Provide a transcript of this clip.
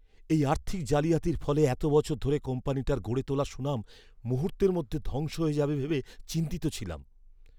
এই আর্থিক জালিয়াতির ফলে এত বছর ধরে কোম্পানিটার গড়ে তোলা সুনাম মুহূর্তের মধ্যে ধ্বংস হয়ে যাবে ভেবে চিন্তিত ছিলাম।